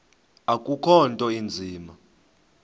akukho nto inzima